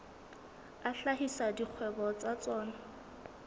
a hlahisa dikgwebo tsa tsona